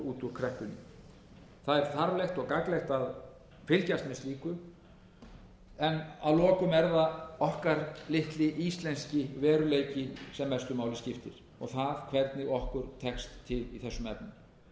út úr kreppunni það er þarflegt og gagnlegt að fylgjast með slíku en að lokum er það okkar litli íslenski veruleiki sem mestu máli skiptir og það hvernig okkur tekst til í þessum efnum ég held að við